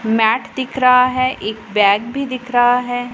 Mat दिख रहा है एक बैग भी दिख रहा है।